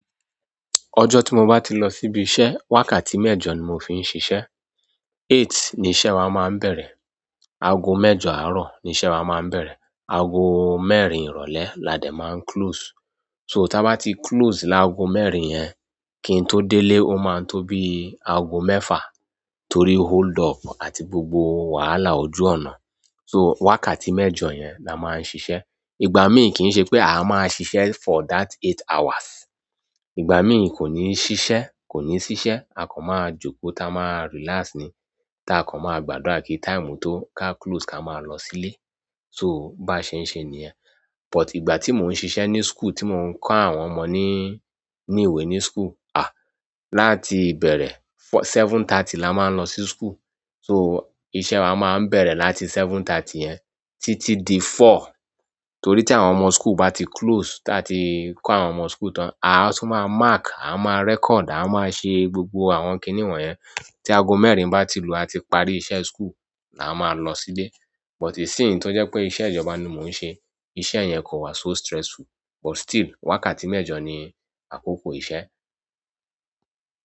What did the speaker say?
Ọjọ́ tí mo bá ti lọ síbi iṣẹ́, wákàtí mẹ́jọ ni mò ń fi ń ṣiṣẹ́. Eight ni iṣẹ́ wa máa ń bẹ̀rẹ̀. Ago mẹ́jọ àárọ̀ ni iṣẹ́ wa máa ń bẹ̀rẹ̀. Ago mẹ́rin ìrọ̀lẹ́ làdẹ̀ máa ń close. So tá bá ti close ní aago mẹ́rin yẹn kí n tó dé ilé ó máa ń tó bí aago mẹ́fà torí hold up àti gbogbo wàhálà ojú ọ̀nà. So wákàtí mẹ́jọ yẹn la máa ń ṣiṣẹ́. Ìgbà míì kì í ṣe pé a máa ṣiṣẹ́ for that eight hours. Ìgbà míì kò ní ṣiṣẹ́, kò ní ṣiṣẹ́, a kàn máa jókòó táa máa relax ni, tá a kàn máa gbàdúrà kí táìmù tó ká close ká máa lọ sílé. So bá ṣe ń ṣe nìyẹn. But ìgbà tí mò ń ṣiṣẹ́ ní school tí mò ń kọ́ àwọn ọmọ ní, ní ìwé ní school, láti bẹ̀rẹ̀ seven thirty la máa ń lọ sí school. So iṣẹ́ wa máa ń bẹ̀rẹ̀ láti seven thirty yẹn títí di four. Torí tí àwọn ọmọ school bá ti close táa ti kó àwọn ọmọ school tán, àá tún máa mark, a máa record, a máa ṣe gbogbo àwọn kìni won yẹ̀n, tí ago mẹ́rin bá ti lù, a ti parí iṣẹ́ school la máa lọ sílé. But ìsínyí tó jẹ́ pé iṣẹ́ ìjọba ni mò ń ṣe, iṣẹ́ yẹn kò wá so stressful. But still wákàtí mẹ́jọ ni àkókò iṣẹ́.